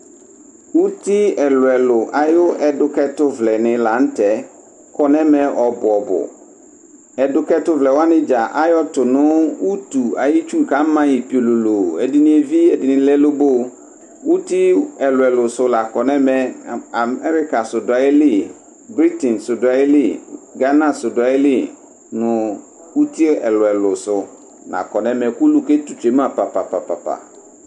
Uti ɛlʋɛlʋ ayu ɛdʋkɛtʋvlɛ ni la nʋ tɛ kɔ nʋ ɛmɛ ɔbʋ ɔbʋ Ɛdʋkɛtʋvlɛ wani dza ayɔtʋ nʋ utu ayi tsu kama yi piololoo Ɛdini evi, ɛdini lɛ loboo Uti ɛlʋɛlʋ sʋ la kɔ nɛmɛ Amɛrika sʋ dʋ ayili, Britiŋ sʋ dʋ ayili, Gana sʋ dʋ ayili nʋ uti ɛlʋɛlʋ sʋ la kɔ nʋ ɛmɛ kʋ ulu ketu tsue ma papapapapa